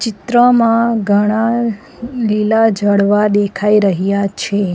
ચિત્રમાં ઘણા લીલા ઝાડવા દેખાઈ રહ્યા છે.